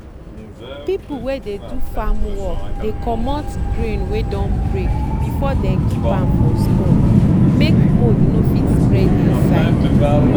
people wey dey do farm work dey comot grain wey don break before dem keep am for store make mould no fit spread inside.